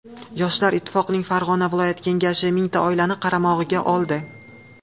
Yoshlar ittifoqining Farg‘ona viloyat kengashi mingta oilani qaramog‘iga oldi.